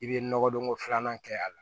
I bɛ nɔgɔdonko filanan kɛ a la